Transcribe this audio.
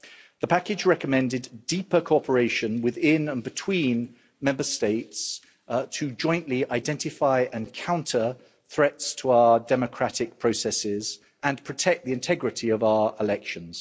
The package recommended deeper cooperation within and between Member States to jointly identify and counter threats to our democratic processes and protect the integrity of our elections.